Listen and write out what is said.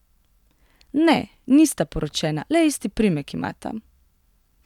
Ne, nista poročena, le isti priimek imata.